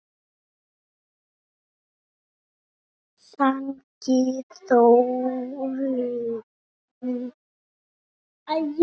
Sagði Þórunn!